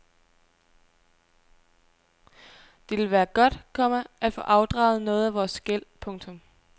Det ville være godt, komma at få afdraget noget af vores gæld. punktum